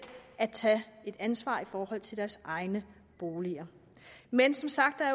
at tage et ansvar i forhold til deres egne boliger men som sagt er